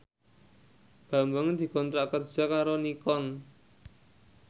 Bambang dikontrak kerja karo Nikon